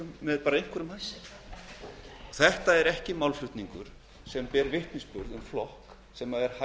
með og bara með einhverjum hætti þetta er ekki málflutningur sem ber vitni um flokk sem